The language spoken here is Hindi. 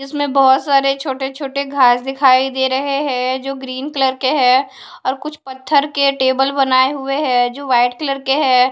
इसमें बहोत सारे छोटे छोटे घास दिखाई दे रहे हैं जो ग्रीन कलर के है और कुछ पत्थर के टेबल बनाए हुए हैं जो वाइट कलर के हैं।